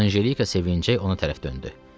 Anjelika sevincəklə onu tərəf döndü.